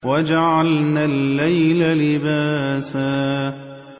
وَجَعَلْنَا اللَّيْلَ لِبَاسًا